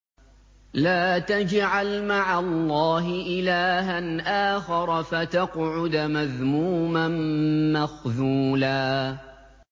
لَّا تَجْعَلْ مَعَ اللَّهِ إِلَٰهًا آخَرَ فَتَقْعُدَ مَذْمُومًا مَّخْذُولًا